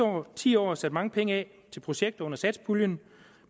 ti år sat mange penge af til projekter under satspuljen